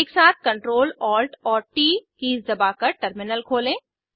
एकसाथ CTRL ALT और T keys दबाकर टर्मिनल खोलें